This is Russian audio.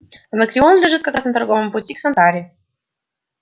анакреон лежит как раз на торговом пути к сантани